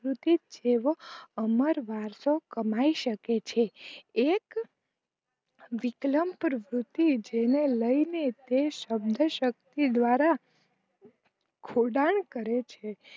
શૂતીત જેવો અમર વારશવ કમાઈ સકે છે એક વિક્લંપ રૂપ્પુતી જેને લઈને તે સમજણ શક્તિ દવારા ખોદાણ કરે છે